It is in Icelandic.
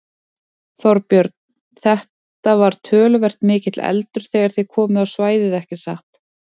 Þorbjörn: Þetta var töluvert mikill eldur þegar þið komuð á svæðið ekki satt?